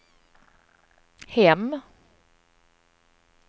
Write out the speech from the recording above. hem